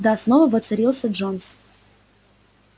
да снова воцарился джонс